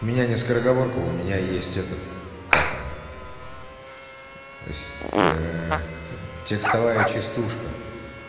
у меня не скороговорка у меня есть этот как оно с текстовая частушка